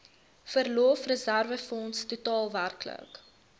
verlofreserwefonds totaal werklik